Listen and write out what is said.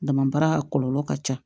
Dama baara kɔlɔlɔ ka ca